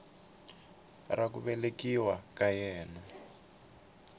ra ku velekiwa ka yena